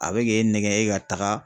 A be k'e nɛgɛ e ka taga.